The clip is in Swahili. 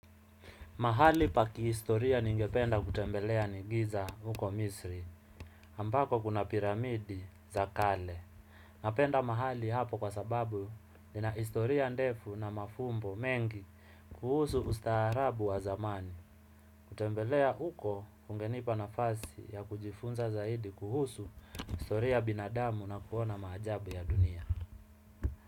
Mahali pa kihistoria ningependa kutembelea ni giza huko misri, ambako kuna piramidi za kale. Napenda mahali hapo kwa sababu nina historia ndefu na mafumbo mengi kuhusu ustaarabu wa zamani. Kutembelea huko kungenipa nafasi ya kujifunza zaidi kuhusu historia ya binadamu na kuona maajabu ya dunia.